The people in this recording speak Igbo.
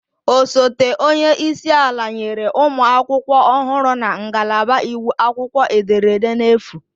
Osote onye isi ala nyere ụmụ akwụkwọ ọhụrụ na ngalaba iwu akwụkwọ ederede n'efu